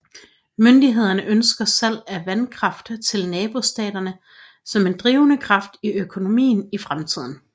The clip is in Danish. Myndighederne ønsker salg af vandkraft til nabostaterne som en drivende kraft i økonomien i fremtiden